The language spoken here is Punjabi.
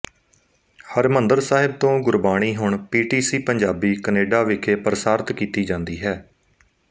ਹਰਿਮੰਦਰ ਸਾਹਿਬ ਤੋਂ ਗੁਰਬਾਣੀ ਹੁਣ ਪੀਟੀਸੀ ਪੰਜਾਬੀ ਕਨੇਡਾ ਵਿਖੇ ਪ੍ਰਸਾਰਿਤ ਕੀਤੀ ਜਾਂਦੀ ਹੈ